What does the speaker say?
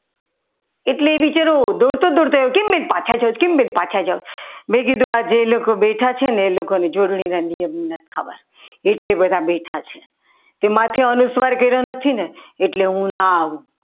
એટલે એ બિચારો દોડતો દોડતો આવ્યો કેમ બેન પાછા જાવ છો તમે કીધું કે બેઠા છે ને એ લોકો જોડણી નથી ખબર એટલે બધા માથે અનુસ્વાર કર્યો નથી ને એટલે હું ના આવું.